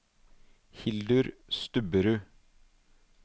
Hildur Stubberud